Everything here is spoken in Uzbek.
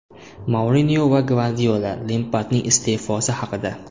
Mourinyo va Gvardiola Lempardning iste’fosi haqida.